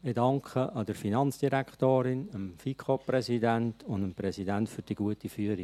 Ich danke der Finanzdirektorin, dem FiKoPräsidenten und dem Präsidenten für die gute Führung.